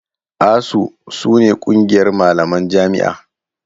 ASUU su ne ƙungiyar malaman jami'a.